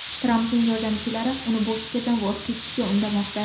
Trampning yordamchilari uni bu fikrdan voz kechishga undamoqda.